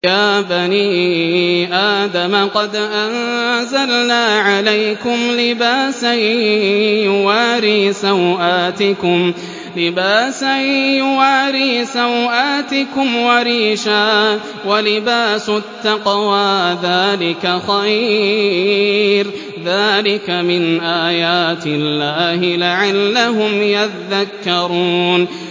يَا بَنِي آدَمَ قَدْ أَنزَلْنَا عَلَيْكُمْ لِبَاسًا يُوَارِي سَوْآتِكُمْ وَرِيشًا ۖ وَلِبَاسُ التَّقْوَىٰ ذَٰلِكَ خَيْرٌ ۚ ذَٰلِكَ مِنْ آيَاتِ اللَّهِ لَعَلَّهُمْ يَذَّكَّرُونَ